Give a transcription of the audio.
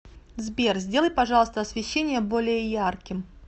сбер сделай пожалуйста освещение более ярким